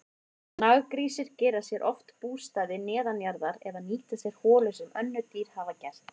Naggrísir gera sér oft bústaði neðanjarðar eða nýta sér holur sem önnur dýr hafa gert.